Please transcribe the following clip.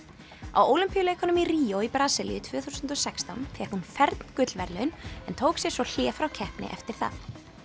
á Ólympíuleikunum í Ríó í Brasilíu tvö þúsund og sextán fékk hún fern gullverðlaun en tók sér svo hlé frá keppni eftir það